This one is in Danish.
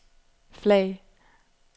flag